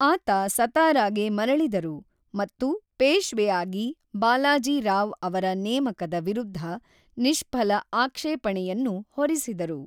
ಆತ ಸತಾರಾಗೆ ಮರಳಿದರು, ಮತ್ತು ಪೇಶ್ವೆಯಾಗಿ ಬಾಲಾಜಿ ರಾವ್ ಅವರ ನೇಮಕದ ವಿರುದ್ಧ ನಿಶ್ಫಲ ಆಕ್ಷೇಪಣೆಯನ್ನು ಹೊರಿಸಿದರು.